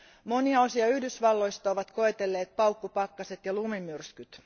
Monia osia Yhdysvalloista ovat koetelleet paukkupakkaset ja lumimyrskyt.